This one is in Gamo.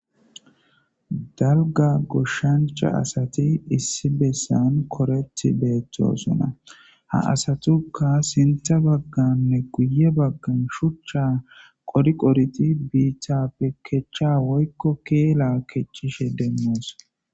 Dalga goshshancha asati issi bessan koreti beettosona ha asatuka sinta bagganne guye baggan shuchcha qoriqoriti biitappe kecha woykko keela kecishe demmoos.